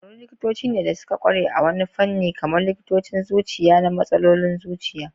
Kwararrun likitoci ne da suka kware a wani fanni, kamar likitocin zuciya na matsalolin zuciya.